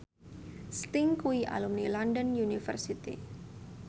Sting kuwi alumni London University